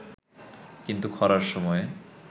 কিন্তু খরার সময়ে